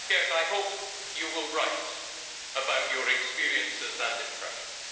I hope you will write about your experiences and impressions.